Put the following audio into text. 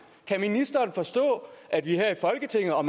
kan ministeren forstå at vi her i folketinget og